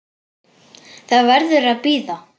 BJÖRN: Það verður að bíða.